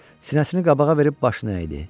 Sinəsini qabağa verib başını əydi.